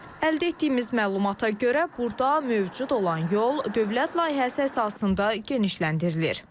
Əldə etdiyimiz məlumata görə burda mövcud olan yol dövlət layihəsi əsasında genişləndirilir.